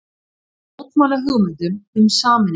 Mótmæla hugmyndum um sameiningu